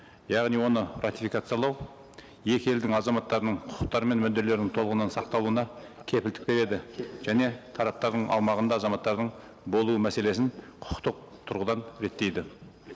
яғни оны ратификациялау екі елдің азаматтарының құқықтары мен мүдделерін толығынан сақталуына кепілдік береді және тараптардың аумағында азаматтардың болуы мәселесін құқықтық тұрғыдан реттейді